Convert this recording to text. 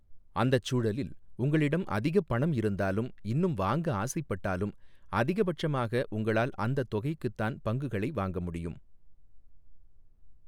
அந்தச் சூழலில், உங்களிடம் அதிகப் பணம் இருந்தாலும் இன்னும் வாங்க ஆசைப்பட்டாலும் அதிகபட்சமாக உங்களால் அந்த தொகைக்குதான் பங்குகளை வாங்க முடியும்.